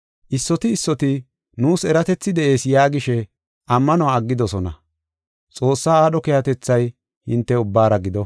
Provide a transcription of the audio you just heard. Issoti issoti nuus eratethi de7ees yaagishe ammanuwa aggidosona. Xoossaa aadho keehatethay hinte ubbaara gido.